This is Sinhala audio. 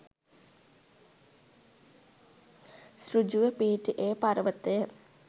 ඍජුව පිහිටි ඒ පර්වතයට